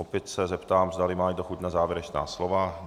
Opět se zeptám, zdali má někdo chuť na závěrečná slova.